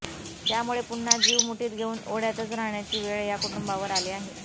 त्यामुळे पुन्हा जीव मुठीत घेऊन ओढ्यातच राहण्याची वेळ या कुटुंबांवर आली आहे